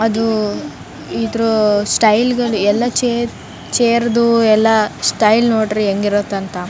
ಅದು ಇದು ಸ್ಟೈಲ್ ಗಳು ಎಲ್ಲ ಚೇರ್ ದು ಎಲ್ಲ ಸ್ಟೈಲ್ ನೋಡ್ರಿ ಹೆಂಗಿರುತ್ತಂತ.